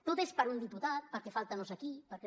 tot és per un diputat perquè falta no sé qui